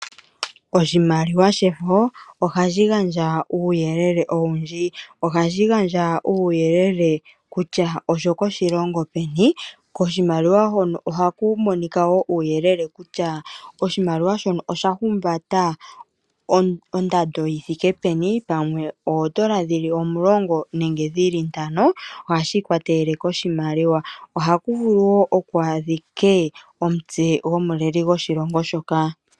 Oshimaliwa shefo ohashi gandja uuyelele owundji, ohashi gandja uuyelele kutya oshoko shilongo shini, koshimaliwa hono ohaku monika woo uuyelele kutya oshimaliwa shono osha humbata ondando yithike peni pamwe oondola dhili omulongo nenge dhili ntano ohashi ikwatelele koshimaliwa. ohakuvulu woo ku adhike omutse o gwomuleli gwoshilongo shoka.